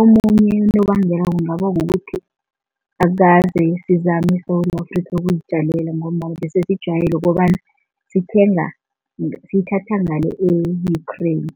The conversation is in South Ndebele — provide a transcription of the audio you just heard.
Omunye unobangela kungaba kukuthi akukaze sizame eSewula Afrika ukuzijamela ngombana besesijwayele ukobana sithenga, sithatha ngale e-Ukraine.